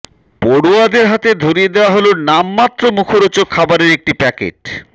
পড়ুয়াদের হাতে ধরিয়ে দেওয়া হল নামমাত্র মুখরোচক খাবারের একটি প্যাকেট